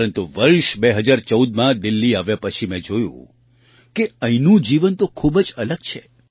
પરંતુ વર્ષ 2014માં દિલ્લી આવ્યા પછી મેં જોયું કે અહીંનું જીવન તો ખૂબ જ અલગ છે